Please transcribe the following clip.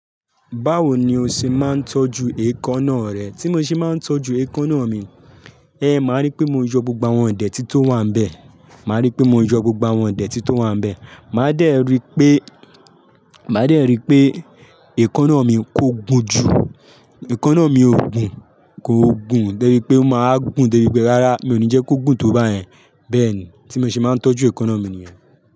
Báwo ni o ṣe máa ń tọ́jú eekanna rẹ? Tí mo ṣe máa ń tọ́jú eekanna mi, ẹhn máa rí pé mo yọ gbogbo àwọn ideti to wà n bẹ̀, màá rí pé mo yọ gbogbo àwọn ideti to wà n bẹ́. Màá dẹ rí pé, màá dẹ rí pé eekanna mi kò gùn jù. Eekanna mi ò gùn, kò gùn débi pé, ó máa wa gùn débi pe. Rárá mi ò ní jẹ́ kó gùn tó bá yẹn. Bẹ́ẹ̀ ni tí mo ṣe máa ń tọ́jú eekanna mi nìyẹn.